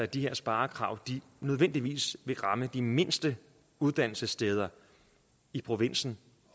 de her sparekrav nødvendigvis vil ramme de mindste uddannelsessteder i provinsen